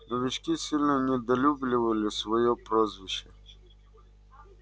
новички сильно недолюбливали своё прозвище